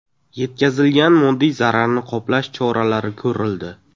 Yetkazilgan moddiy zararni qoplash choralari ko‘rildi.